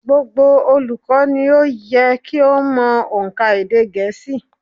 Gbogbo olùkọ́ ni ó yẹ kí ó mo ónkà èdè gẹ̀ẹ́sì